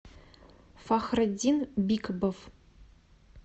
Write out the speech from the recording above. фахретдин бикбов